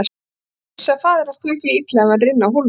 Hann vissi að faðir hans tæki því illa ef hann rynni af hólmi.